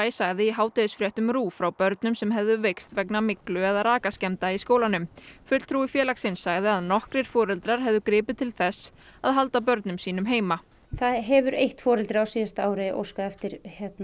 sagði í hádegisfréttum RÚV frá börnum sem hefðu veikst vegna myglu eða rakaskemmda í skólanum fulltrúi félagsins sagði að nokkrir foreldrar hefðu gripið til þess að halda börnum sínum heima það hefur eitt foreldri á síðasta ári óskað eftir